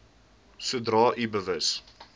sodra u bewus